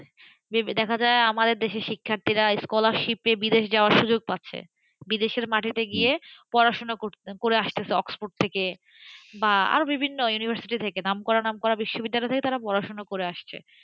যেমনি দেখা যায় আমাদের দেশে শিক্ষার্থীরা scholarship নিয়ে বিদেশ যাওয়ার সুযোগ পাচ্ছেবিদেশের মাটিতে গিয়ে পড়াশোনা করছে, করে আসছে অক্সফোর্ড থেকে, বা আরও বিভিন্ন university থেকে, নামকরা নামকরা বিশ্ববিদ্যালয় থেকে তারা পড়াশোনা করে আসছে,